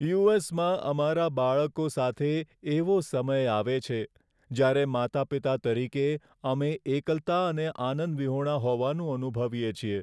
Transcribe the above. You. S. માં અમારા બાળકો સાથે, એવો સમય આવે છે, જ્યારે માતાપિતા તરીકે અમે એકલતા અને આનંદ વિહોણા હોવાનું અનુભવીએ છીએ.